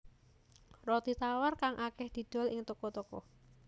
Roti tawar kang akèh didol ing toko toko